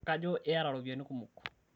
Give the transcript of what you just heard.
kajo iyata iropiyiani kumok